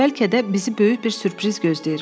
Bəlkə də bizi böyük bir sürpriz gözləyir.